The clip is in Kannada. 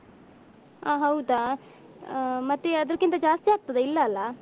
ಹ ಹೌದಾ ಹ ಮತ್ತೆ ಅದ್ರಕ್ಕಿಂತ ಜಾಸ್ತಿ ಆಗ್ತದಾ ಇಲ್ಲಲ್ಲ.